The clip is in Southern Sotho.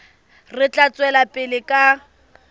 re tla tswela pele ka